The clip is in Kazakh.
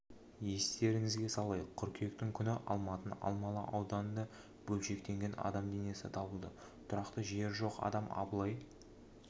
естеріңізге салайық қыркүйектің күні алматының алмалы ауданында бөлшектелген адам денесі табылды тұрақты жері жоқ адам абылай